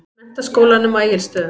Menntaskólanum á Egilsstöðum.